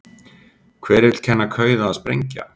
Hver vill kenna kauða að sprengja??